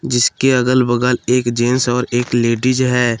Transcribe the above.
जिसके अगल बगल एक जेंस और एक लेडीज़ है।